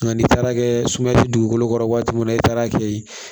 Nka n'i taara kɛ suma ti dugukolo kɔrɔ waati mun na i taara kɛ yen